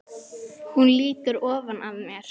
Hún lýtur ofan að mér.